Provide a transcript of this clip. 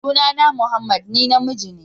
Sunana Mohammed, ni namiji ne.